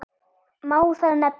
Má þar nefna